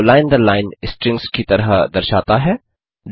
data को line दर line strings की तरह दर्शाता है